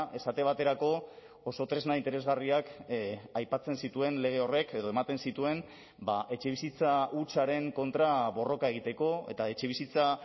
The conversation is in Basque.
esate baterako oso tresna interesgarriak aipatzen zituen lege horrek edo ematen zituen etxebizitza hutsaren kontra borroka egiteko eta etxebizitza